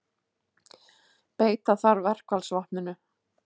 Beita þarf verkfallsvopninu